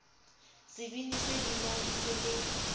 sebini se binang se le